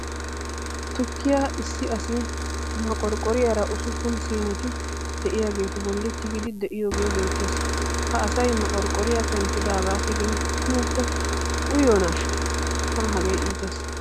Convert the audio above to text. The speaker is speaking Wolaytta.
Tukkiya issi asi moqorqqoriyara usuppun siineti de'iyageetu bolli tigiiddi de'iyogee beettees. Ha asay moqorqqoriyara penttidaagaa tigin tumuppe uyiyonaashsha. Tana hegee iitees.